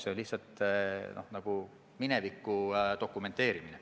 See on lihtsalt nagu mineviku dokumenteerimine.